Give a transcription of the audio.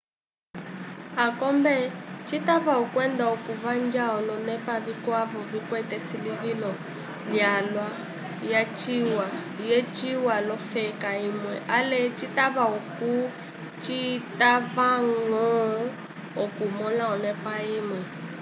akombe citava okwenda okuvanja olonepa vikwavo vikwete esilivilo lyalwa lyaciwa l'ofeka imwe ale vitava okuti citavañgo okumõla onepa imwe